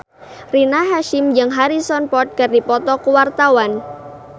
Rina Hasyim jeung Harrison Ford keur dipoto ku wartawan